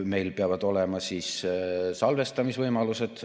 Meil peavad olema salvestamise võimalused.